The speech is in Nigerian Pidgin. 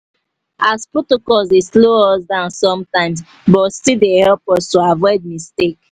as protocols dey slow us down sometimes but still dey help us to avoid mistakes.